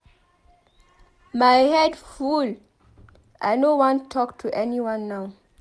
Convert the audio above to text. My head full I no wan talk to anyone now.